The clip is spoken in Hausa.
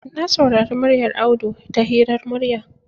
Na saurari muryar Audu ta hirar murya.